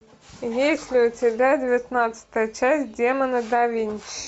есть ли у тебя девятнадцатая часть демоны да винчи